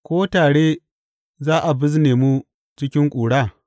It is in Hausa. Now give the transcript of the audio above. Ko tare za a bizne mu cikin ƙura?